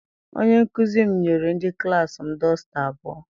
Onye nkụzi m nyere ndị klassi m dọsta abụọ.